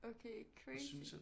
Okay crazy